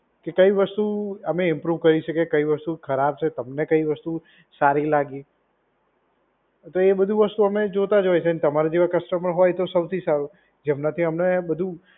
કે કઈ વસ્તુ અમે ઇમ્પ્રૂવ કરી શકે. કઈ વસ્તુ ખરાબ છે. તમને કઈ વસ્તુ સારી લાગી. તો એ બધી વસ્તુ અમે જોતા જ હોય છે. અને તમારા જેવા કસ્ટમર હોય તો સૌથી સારું. જેમનાથી અમને બધુ